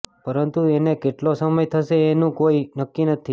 પરંતુ એને કેટલો સમય થશે એનું કોઇ નક્કી નથી